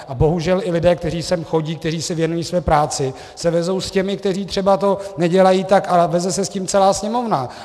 A bohužel i lidé, kteří sem chodí, kteří se věnují své práci, se vezou s těmi, kteří třeba to nedělají tak, a veze se s tím celá Sněmovna.